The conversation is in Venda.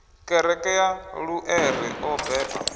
kereke ya luṱere o beba